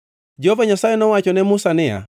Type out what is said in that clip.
Jehova Nyasaye nowacho ne Musa niya: